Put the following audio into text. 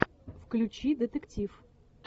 включи детектив